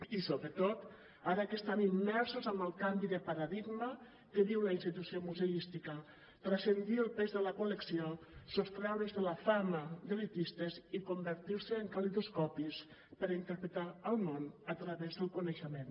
i sobretot ara que estan immersos en el canvi de paradigma que viu la institució museística transcendir el pes de la col·lecció sostreure’s de la fama d’elitistes i convertir se en calidoscopis per interpretar el món a través del coneixement